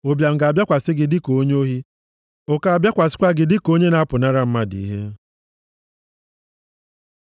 ụbịam ga-abịakwasị gị dịka onye ohi, ụkọ abịakwasịkwa gị dịka onye na-apụnara mmadụ ihe.